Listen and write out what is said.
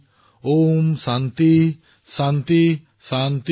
शान्ति शान्ति